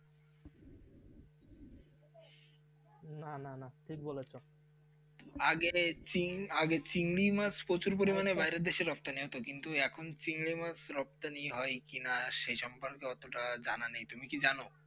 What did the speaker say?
নানানা ঠিক বলেছো আগে চীন আগে চিংড়ি মাছ প্রচুর মাত্রায় বাইরের দেশে রপ্তানি হতো কিন্তু এখন চিংড়ি মাছ রপ্তানি হয় কিনা সে সম্পর্কে অতটা জানা নেই তুমি কি জানো.